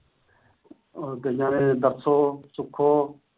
ਗਈਆਂ ਨੇ ਦਰਸ਼ੋ, ਸੁਖੋ।